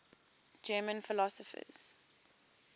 german philosophers